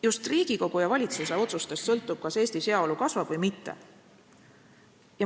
Just Riigikogu ja valitsuse otsustest sõltub, kas Eestis heaolu kasvab või mitte.